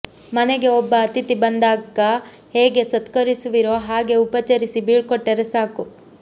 ಮನೆಗೆ ಒಬ್ಬ ಅತಿಥಿ ಬಂದಾಕ ಹೇಗೆ ಸತ್ಕರಿಸುವಿರೊ ಹಾಗೆ ಉಪಚರಿಸಿ ಬೀಳ್ಕೊಟ್ಟರೆ ಸಾಕು